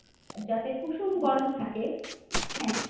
যাতে কুসুম গরম থাকে হ্যাঁ